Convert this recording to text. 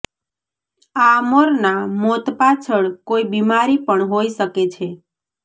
આ મોરના મોત પાછળ કોઇ બિમારી પણ હોઇ શકે છે